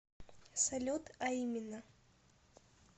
салют а именно